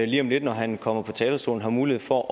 lige om lidt når han kommer på talerstolen har mulighed for